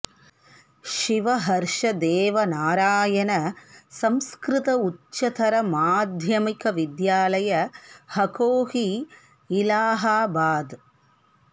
Shiva Harsh Dev Narayan Sanskrit Uchchatar Madhyamik Vidyalaya Hakohi Allahabad